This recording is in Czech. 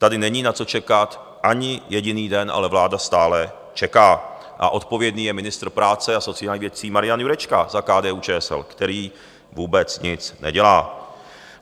Tady není na co čekat ani jediný den, ale vláda stále čeká, a odpovědný je ministr práce a sociálních věcí Marian Jurečka za KDU-ČSL, který vůbec nic nedělá.